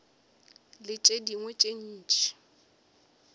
le tše dingwe tše ntši